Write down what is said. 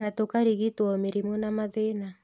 Na tũkarigitwo mĩrimũ na mathĩna